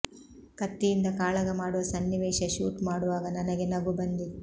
ಕತ್ತಿಯಿಂದ ಕಾಳಗ ಮಾಡುವ ಸನ್ನಿವೇಶ ಶೂಟ್ ಮಾಡುವಾಗ ನನಗೆ ನಗು ಬಂದಿತ್ತು